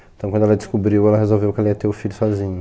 Então quando ela descobriu, ela resolveu que ela ia ter o filho sozinha.